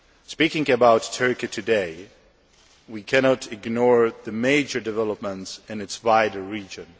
Speaking about Turkey today, we cannot ignore the major developments in its wider region.